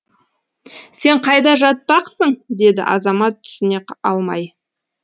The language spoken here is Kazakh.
сен қайда жатпақсың деді азамат түсіне алмай